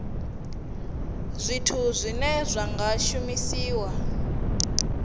zwithu zwine zwa nga shumiswa